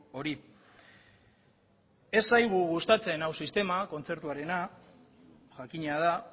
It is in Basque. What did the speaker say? hori ez zaigu gustatzen hau sistema kontzertuarena jakina da